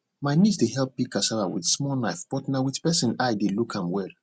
my niece dey help peel cassava with small knife but na with person eye dey look am well